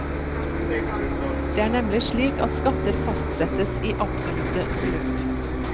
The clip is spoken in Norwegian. Det er nemlig slik at skatter fastsettes i absolutte beløp.